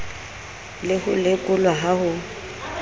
le ho lekolwa ha ho